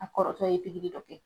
A kɔrɔkɛ ye pikiri dɔ kɛ.